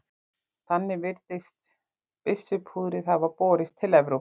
Þannig virðist byssupúðrið hafa borist til Evrópu.